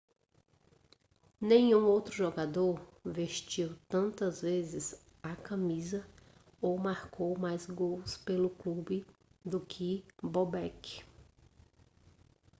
nenhum outro jogador vestiu tantas vezes a camisa ou marcou mais gols pelo clube do que bobek